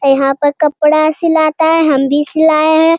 यहाँ पर कपड़ा सिलाता है हम भी सिलाए हैं।